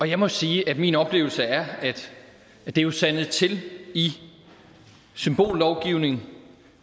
jeg må sige at min oplevelse er at det er sandet til i symbollovgivning